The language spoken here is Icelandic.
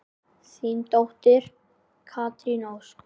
Þín dóttir, Katrín Ósk.